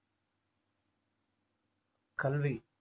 கல்வி